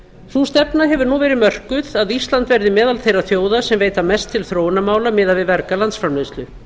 sú stefna hefur nú verið mörkuð að ísland verði meðal þeirra þjóða sem veita mest til þróunarmála miðað við verga landsframleiðslu